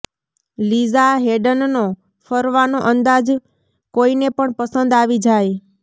લીઝા હેડનનો ફરવાનો અંદાઝ કોઈને પણ પસંદ આવી જાય